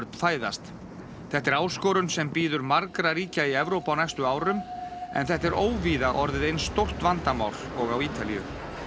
fæðast þetta er áskorun sem bíður margra ríkja í Evrópu á næstu árum en þetta er óvíða orðið eins stórt vandamál og á Ítalíu